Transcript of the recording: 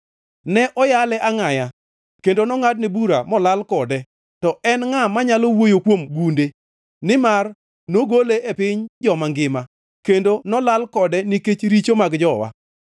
Ne oyale angʼaya kendo nongʼadne bura molal kode. To en ngʼa manyalo wuoyo kuom gunde? Nimar nogole e piny joma ngima, kendo nolal kode nikech richo mag jowa.